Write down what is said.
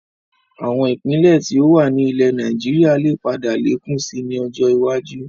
Àwọn Ìpínlẹ̀ tí ó wà ní ilẹ̀ Nàìjíríà lè padà lékún síí ni ọjọ́ iwájú